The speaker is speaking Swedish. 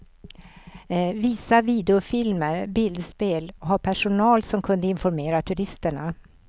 Visa videofilmer, bildspel och ha personal som kunde informera turisterna.